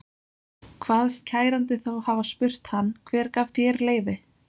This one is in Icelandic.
Kvaðst kærandi þá hafa spurt hann: Hver gaf þér leyfi?